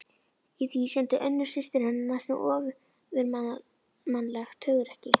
Í því sýndi Unnur systir hennar næstum ofurmannlegt hugrekki.